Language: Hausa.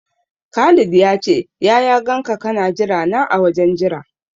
Khalid ya ce ya ya ganka kana jira na a wajen jira.